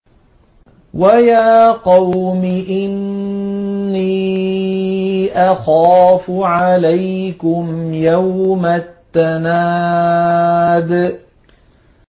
وَيَا قَوْمِ إِنِّي أَخَافُ عَلَيْكُمْ يَوْمَ التَّنَادِ